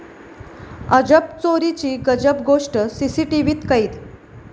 अजब चोरीची गजब गोष्ट सीसीटीव्हीत कैद